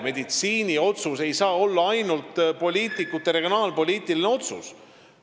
Meditsiiniline otsus ei saa olla ainult poliitikute regionaalpoliitiline otsus.